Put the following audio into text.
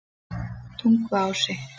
Tunguási